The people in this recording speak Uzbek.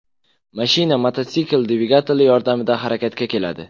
Mashina mototsikl dvigateli yordamida harakatga keladi.